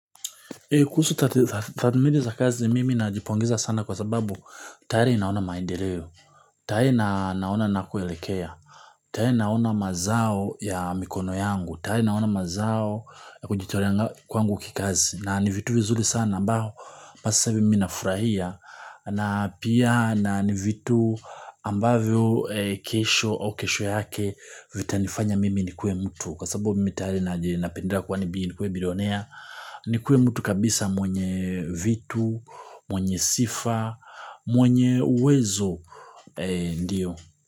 Kuhusu tathmini za kazi, mimi najipongeza sana kwa sababu tayari naona maendeleo. Tayari naona ninakoelekea, tayari naona mazao ya mikono yangu, tayari naona mazao ya kujitolea kwangu kikazi na ni vitu vizuri sana ambao haswa mimi nafurahia. Na pia na ni vitu ambavyo kesho au kesho yake vitanifanya mimi nikuwe mtu. Kwa sababu mimi tayari napendelea nikue bilionea. Nikuwe mtu kabisa mwenye vitu, mwenye sifa, mwenye uwezo, Ndio.